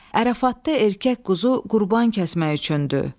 Ərəfatda erkək quzu qurban kəsmək üçündür.